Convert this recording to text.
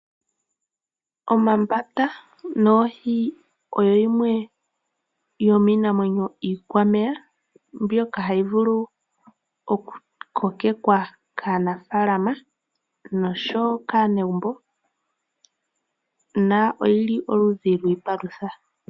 Omambata noohi oyimwe yominamwenyo iikwameya mbyoka hayi vulu oku kokekwa kaanafalama nokanegumbo noyilioludhi lwiipalutha.